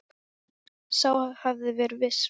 Sá hafði verið viss!